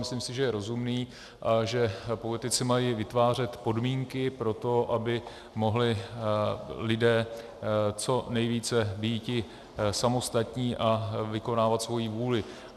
Myslím si, že je rozumný, že politici mají vytvářet podmínky pro to, aby mohli lidé co nejvíce býti samostatní a vykonávat svoji vůli.